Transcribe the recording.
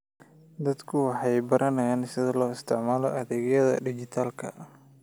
Dadku waxay baranayaan sida loo isticmaalo adeegyada dhijitaalka ah.